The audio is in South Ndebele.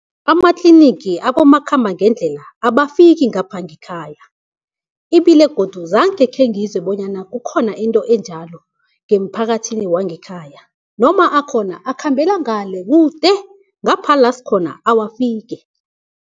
Amatlinigi abomakhambangendlela abafiki ngapha ngekhaya, ibile godu zange khengizwe bonyana kukhona into enjalo ngemphakathini wangekhaya, noma akhona akhambela ngale kude ngapha la sikhona awafiki.